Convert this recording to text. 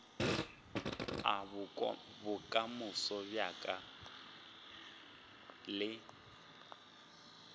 a bokamoso bja ka le